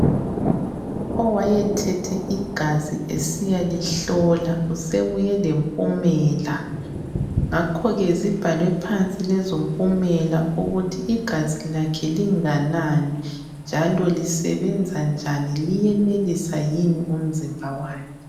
Owayethethe igazi esiyalihlola usebuye lempumela. Ngakho ke zibhalwe phansi lezompumela ukuthi igazi lakhe linganani njalo lisebenza njani liyenelisa yini umzimba wakhe.